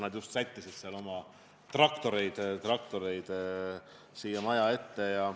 Nad just sättisid oma traktoreid siia maja ette.